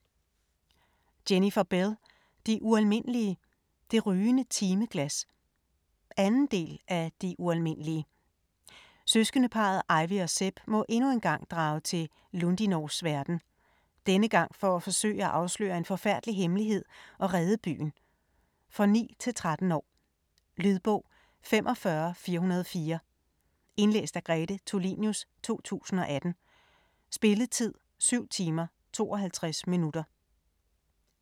Bell, Jennifer: De ualmindelige - det rygende timeglas 2. del af De ualmindelige. Søskendeparret Ivy og Seb må endnu engang drage til Lundinors verden - denne gang for at forsøge at afsløre en forfærdelig hemmelighed og redde byen. For 9-13 år. Lydbog 45404 Indlæst af Grete Tulinius, 2018. Spilletid: 7 timer, 52 minutter.